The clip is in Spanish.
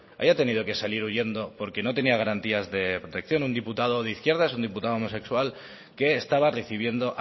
haya tenido que salir huyendo porque no tenía garantías de protección un diputado de izquierdas un diputado homosexual que estaba recibiendo